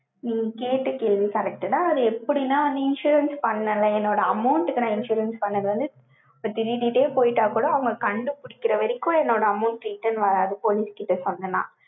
நீங்க கேட்ட கேள்வி correct டா, அது எப்படின்னா, insurance பண்ணல, என்னோட amount க்கு நான் insurance பண்ணது வந்து, இப்ப திருடிட்டே போயிட்டா கூட, அவங்க கண்டு வரைக்கும், என்னோட amount, return வராது, police கிட்ட சொன்னேன்னா.